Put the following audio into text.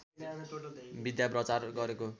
विद्या प्रचार गरेको